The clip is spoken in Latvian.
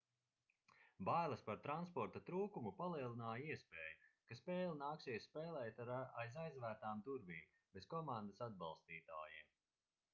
bailes par transporta trūkumu palielināja iespēju ka spēli nāksies spēlēt aiz aizvērtām durvīm bez komandas atbalstītājiem